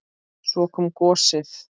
Svo kom gosið!